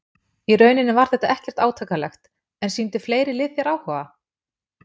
Í rauninni var þetta ekkert átakanlegt En sýndu fleiri lið þér áhuga?